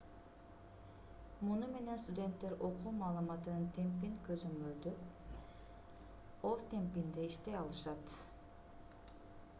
муну менен студенттер окуу маалыматынын темпин көзөмөлдөп өз темпинде иштей алышат